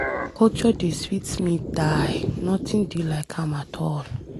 Culture dey sweet me die. Nothing dey like am at all.